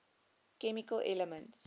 chemical elements